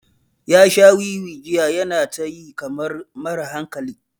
Ya sha wiwi jiya yana ta yi kamar mara hankali.